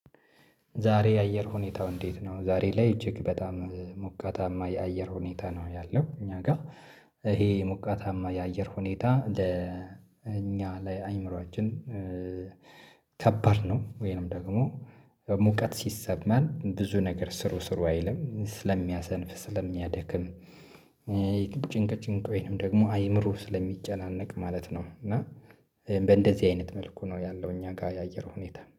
ዛሬ የአየር ሁኔታው እንዴት ነው? ዛሬ ላይ እጅግ በጣም ሞቃታማ የአየር ሁኔታ ነው ያለው እኛ ጋር። ይሄ ሙቀታማ የአየር ሁኔታ ለእኛ ላይ ለአይምሮአችን ከባድ ነው። ወይንም ደግሞ ሙቀት ሲሰማን ብዙ ነገር ስሩ ስሩ አይልም ስለሚያሰንፍ ስለሚያደክም። ጭንቅ ጭንቅ ወይንም ደግሞ አይምሮ ስለሚጨናነቅ ማለት ነው። እና በእንደዚህ አይነት መልኩ ነው ያለው። እኛ ጋር የአየር ሁኔታ